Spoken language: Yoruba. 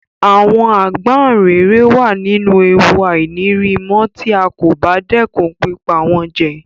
Àwon Àgbáǹréré wa nínú ewu àìnírimó tí a kò bá dẹ́kun pípa wón jẹ